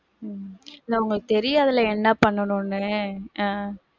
உம் இல்ல, உங்களுக்கு தெரியாதுல என்ன பண்ணனும்ன்னு, ஆஹ்